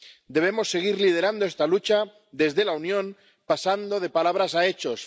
Debemos seguir liderando esta lucha desde la Unión, pasando de palabras a hechos.